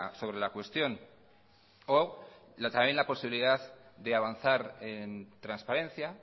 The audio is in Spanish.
sobre la cuestión o también la posibilidad de avanzar en transparencia